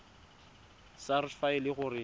sars fa e le gore